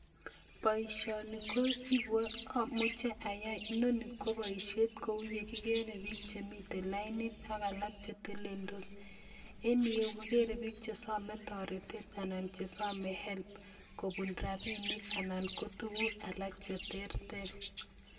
Boishoni amuche ayai, inoni ko boishien kouye kigeere bik chemiten lainit ak alak cheteleldos, en yuh kegeere biik chesome toretet Helb kobuun rabinik anan ko tuguuk alak cheterter